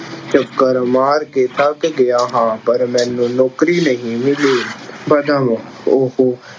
ਚੱਕਰ ਮਾਰ ਕੇ ਥੱਕ ਗਿਆ ਹਾਂ ਪਰ ਮੈਨੂੰ ਨੌਕਰੀ ਨਹੀਂ ਮਿਲੀ। - ਉਹ